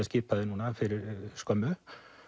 skipaði núna fyrir skömmu